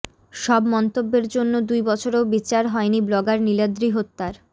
সব মন্তব্যের জন্য দুই বছরেও বিচার হয়নি ব্লগার নীলাদ্রি হত্যার